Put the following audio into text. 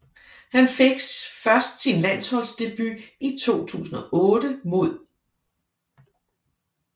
Han fik først sin landsholdsdebut i 2008 mod